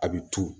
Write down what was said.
A bɛ tulu